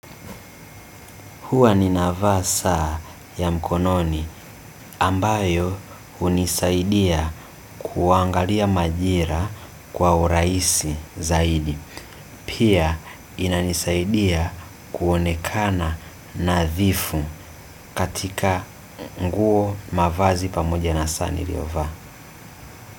Huwa nina vaa saa ya mkononi ambayo hunisaidia kuangalia majira kwa urahisi zaidi. Pia, inanisaidia kuonekana nadhifu katika nguo, mavazi pamoja na saa niliyovaa.